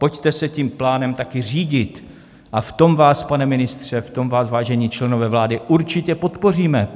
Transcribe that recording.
Pojďte se tím plánem také řídit a v tom vás, pane ministře, v tom vás, vážení členové vlády, určitě podpoříme.